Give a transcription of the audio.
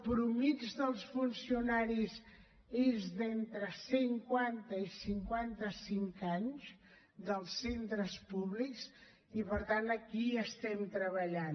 la mitjana dels funcionaris és d’entre cinquanta i cinquanta cinc anys dels centres públics i per tant aquí hi estem treballant